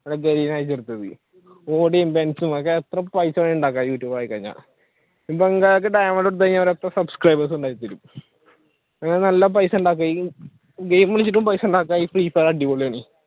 എത്ര പൈസ വേണമെങ്കിലും ഉണ്ടാക്കാം യൂട്യൂബ് തുടങ്ങി കഴിഞ്ഞാൽ നല്ല പൈസയുണ്ടാക്കാം ഗെയിം കളിച്ചിട്ട് പൈസയുണ്ടാക്കാം